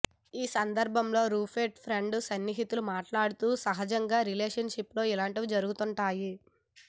ఈసందర్బంలో Rupert friend సన్నిహితులు మాట్లాడుతూ సహాజంగా రిలేషన్ షిప్ లో ఇలాంటివి జరుగుతుంటాయి